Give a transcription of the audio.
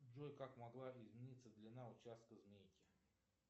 джой как могла измениться длина участка змейки